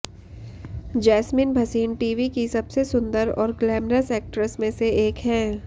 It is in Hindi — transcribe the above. जैस्मिन भसीन टीवी की सबसे सुंदर और ग्लैमरस ऐक्ट्रेसेस में से एक हैं